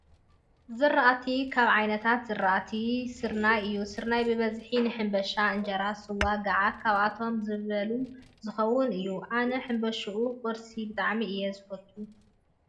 ዝራእቲ፦ ካብ ዓይነታት ዝራእቲ ድርናይ እዩ ሰርናይ በበዝሒ ንሕንባሻ ፣እንጀራ፣ ስዋ፣ ጋዓት ኣብ እቶ ዝበልካቶ ዝከውን እዩ። ኣነ ሕምባሻ ኩርሲ ብጣዕሚ እየ ዝፈትው።